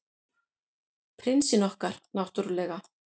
Prinsinn okkar, náttúrlega.